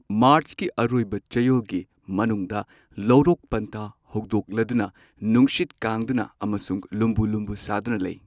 ꯃꯥꯔꯆꯀꯤ ꯑꯔꯣꯏꯕ ꯆꯌꯣꯜꯒꯤ ꯃꯅꯨꯡꯗ ꯂꯧꯔꯣꯛ ꯄꯟꯊꯥ ꯍꯧꯗꯣꯛꯂꯗꯨꯅ ꯅꯨꯡꯁꯤꯠ ꯀꯥꯡꯗꯨꯅ ꯑꯃꯁꯨꯡ ꯂꯨꯝꯕꯨ ꯂꯨꯝꯕꯨ ꯁꯥꯗꯨꯅ ꯂꯩ꯫